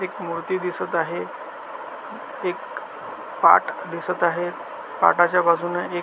एक मुर्ती दिसत आहे एक अ पाट दिसत आहे पाटाच्या बाजुने एक--